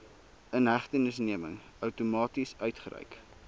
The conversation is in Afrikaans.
inhegtenisneming outomaties uitgereik